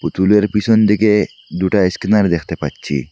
পুতুলের পিসন দিকে দুটো আইস্ক্রিনার দেখতে পাচ্ছি।